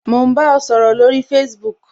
Mo n bá ọ sọ̀rọ̀ báyìí lórí Facebook